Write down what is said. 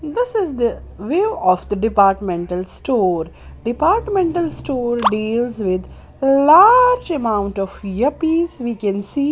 This is the view of the departmental store departmental store deals with a large amount of year piece we can see.